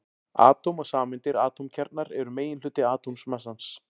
Atóm og sameindir Atómkjarnar eru meginhluti atómmassans.